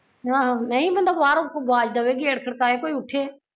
ਆਹੋ ਨਹੀਂ ਬੰਦਾ ਬਾਹਰੋਂ ਕੋਈ ਆਵਾਜ਼ ਦੇਵੇ ਗੇਟ ਖੜਕਾਏ ਕੋਈ ਉੱਠੇ